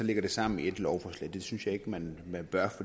det sammen i ét lovforslag det synes jeg ikke man bør